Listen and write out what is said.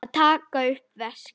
Að taka upp veskið.